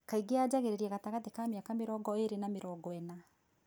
Kaingĩ yajangĩrĩria katagatĩ ka mĩaka mĩrongo ĩrĩ na mĩrongo ĩna.